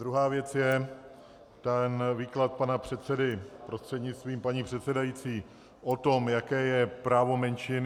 Druhá věc je ten výklad pana předsedy, prostřednictvím paní předsedající, o tom, jaké je právo menšin.